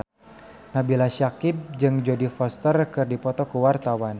Nabila Syakieb jeung Jodie Foster keur dipoto ku wartawan